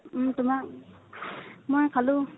উম তোমাৰ মই খালো।